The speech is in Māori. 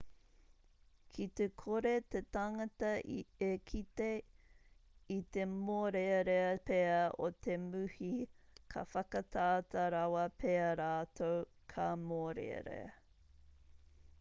ki te kore te tangata e kite i te mōrearea pea o te muhi ka whakatata rawa pea rātou ka mōrearea